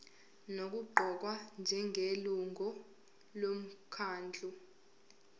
nokuqokwa njengelungu lomkhandlu